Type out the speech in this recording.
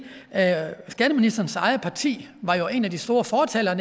at skatteministerens eget parti jo var en af de store fortalere